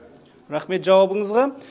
рахмет жауабыңызға